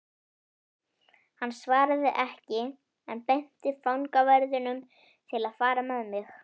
Hann svaraði ekki en benti fangaverðinum að fara með mig.